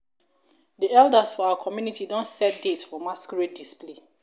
the elders for our community don set date for masquerades display